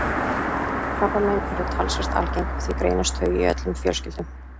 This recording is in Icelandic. Krabbamein eru talsvert algeng og því greinast þau í öllum fjölskyldum.